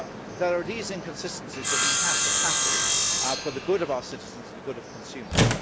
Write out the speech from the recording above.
There are these inconsistencies that we have to tackle for the good of our citizens and the good of consumers.